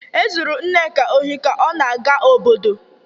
Ezuru Nneka ohi ụnyahụ ka ọ na-aga obodo